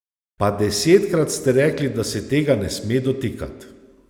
Pa desetkrat ste rekli, da se tega ne sme dotikat.